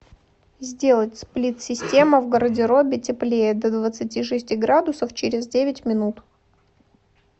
сделать сплит система в гардеробе теплее до двадцати шести градусов через девять минут